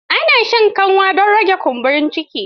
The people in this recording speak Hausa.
Ana shan kanwa don rage kumburin ciki.